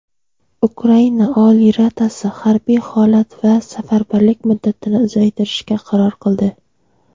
Ukraina Oliy Radasi harbiy holat va safarbarlik muddatini uzaytirishga qaror qildi.